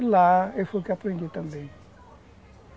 E lá eu fui que aprendi também.